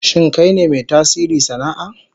Shin kai ne mai tasiri sana'a?